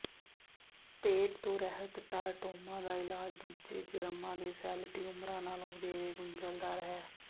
ਪੇਟ ਤੋਂ ਰਹਿਤ ਟਾਰਟੋਮਾ ਦਾ ਇਲਾਜ ਦੂਜੇ ਜਰਮਾਂ ਦੇ ਸੈੱਲ ਟਿਊਮਰਾਂ ਨਾਲੋਂ ਵਧੇਰੇ ਗੁੰਝਲਦਾਰ ਹੈ